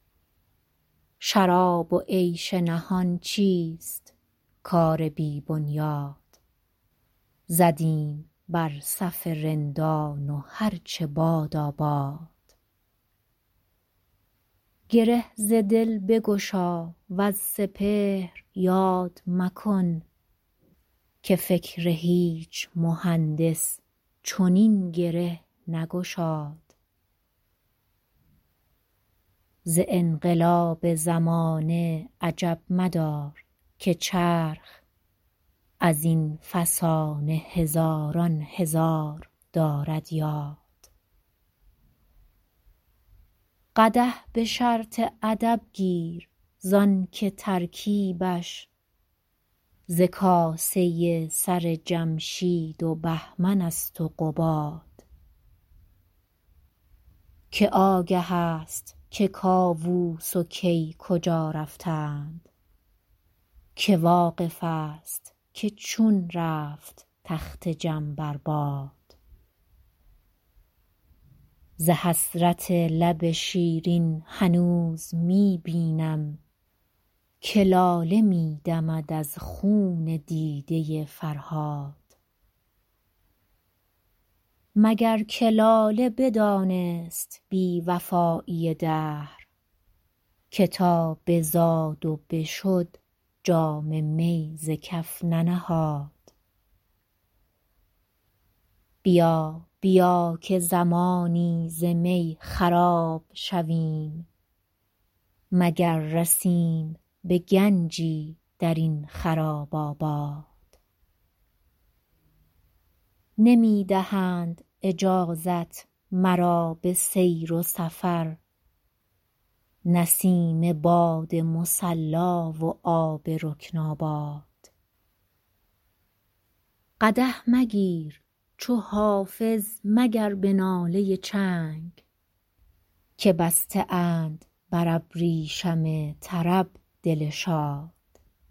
شراب و عیش نهان چیست کار بی بنیاد زدیم بر صف رندان و هر چه بادا باد گره ز دل بگشا وز سپهر یاد مکن که فکر هیچ مهندس چنین گره نگشاد ز انقلاب زمانه عجب مدار که چرخ از این فسانه هزاران هزار دارد یاد قدح به شرط ادب گیر زان که ترکیبش ز کاسه سر جمشید و بهمن است و قباد که آگه است که کاووس و کی کجا رفتند که واقف است که چون رفت تخت جم بر باد ز حسرت لب شیرین هنوز می بینم که لاله می دمد از خون دیده فرهاد مگر که لاله بدانست بی وفایی دهر که تا بزاد و بشد جام می ز کف ننهاد بیا بیا که زمانی ز می خراب شویم مگر رسیم به گنجی در این خراب آباد نمی دهند اجازت مرا به سیر سفر نسیم باد مصلا و آب رکن آباد قدح مگیر چو حافظ مگر به ناله چنگ که بسته اند بر ابریشم طرب دل شاد